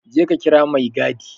Je ka kira maigadi!